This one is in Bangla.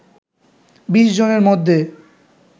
২০ জনের মধ্যে